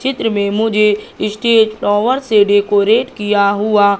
चित्र में मुझे स्टेज टावर से डेकोरेट किया हुआ--